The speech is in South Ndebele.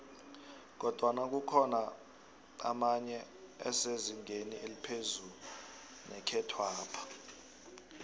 kodwana kukhona emenye esezingeni eliphezu nekhethwapha